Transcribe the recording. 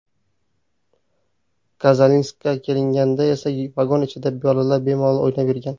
Kazalinskka kelinganda esa vagon ichida bolalar bemalol o‘ynab yurgan.